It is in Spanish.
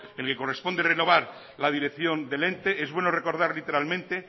en el que corresponde renovar la dirección del ente es bueno recordar literalmente